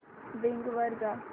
Bing वर जा